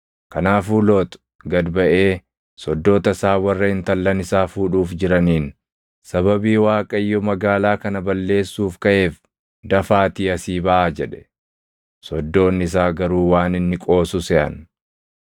Kanaafuu Loox gad baʼee soddoota isaa warra intallan isaa fuudhuuf jiraniin, “Sababii Waaqayyo magaalaa kana balleessuuf kaʼeef, dafaatii asii baʼaa!” jedhe. Soddoonni isaa garuu waan inni qoosu seʼan.